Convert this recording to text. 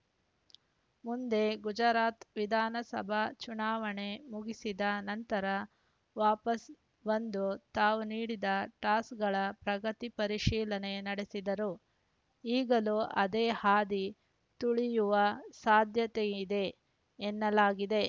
ಮುಂದೆ ಗುಜರಾತ್‌ ವಿಧಾನಸಭಾ ಚುನಾವಣೆ ಮುಗಿಸಿದ ನಂತರ ವಾಪಸ್ ಬಂದು ತಾವು ನೀಡಿದ್ದ ಟಾಸ್ಕ್‌ಗಳ ಪ್ರಗತಿ ಪರಿಶೀಲನೆ ನಡೆಸಿದ್ದರು ಈಗಲೂ ಅದೇ ಹಾದಿ ತುಳಿಯುವ ಸಾಧ್ಯತೆಯಿದೆ ಎನ್ನಲಾಗಿದೆ